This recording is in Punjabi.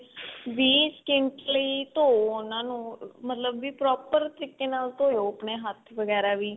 ਵੀਹ ਸਕਿੰਟ ਲਈ ਧੋ ਉਨ੍ਹਾਂ ਨੂੰ ਮਤਲਬ ਵੀ proper ਤਰੀਕੇ ਨਾਲ ਧੋਵੋ ਆਪਣੇ ਹੱਥ ਵਗੈਰਾ ਵੀ